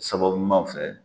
Sababu fɛ